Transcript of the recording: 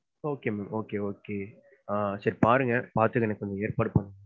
Okay ma'am, okay, okay சரி பாருங்க பாத்துட்டு எனக்கு கொஞ்சம் ஏற்பாடு பண்ணுங்க.